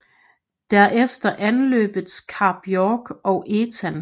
Der efter anløbtes Kap York og Etah